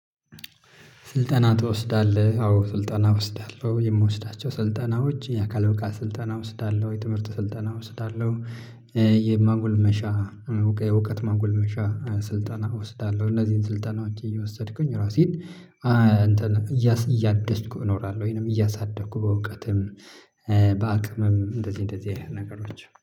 ስልጠና ትወስዳለህ አዎ ስልጠና እወስዳለሁ የምወስዳቸው ስልጠናዎች የአካል ብቃት ስልጠና ወስዳለሁ የትምህርት ስልጠና ወስዳለሁ። የማጎልመሻ እውቀት ማጎልመሻ ስልጠና እወስዳለሁ። እነዚህን ስልጠና ውጪ እየወሰድኩኝ ራሴን እያደስኩ እኖራለሁ። ወይንም እያሳደኩ በእውቀትም በአቅምም እንደዚህ እንደዚህ አይነት ነገሮች